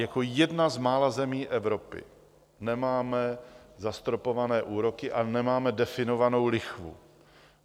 Jako jedna z mála zemí Evropy nemáme zastropované úroky a nemáme definovanou lichvu.